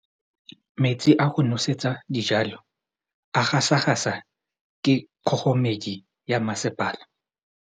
Metsi a go nosetsa dijalo a gasa gasa ke kgogomedi ya masepala.